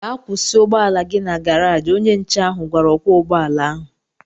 Gaa kwụsị ụgbọala gị na garaji! Onye nche ahụ gwara ọkwọ ụgbọala ahụ